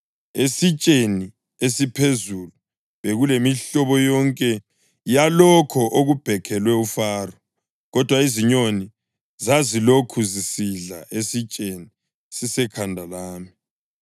Esitsheni esiphezulu bekulemihlobo yonke yalokho okubhekhelwe uFaro, kodwa izinyoni zazilokhu zisidlala esitsheni sisekhanda lami.”